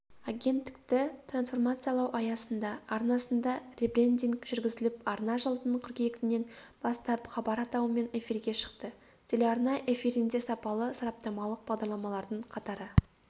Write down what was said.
агенттікті трансформациялау аясында арнасында ребрендинг жүргізіліп арна жылдың қыркүйегінен бастап хабар атауымен эфирге шықты телеарна эфирінде сапалы сараптамалық бағдарламалардың қатары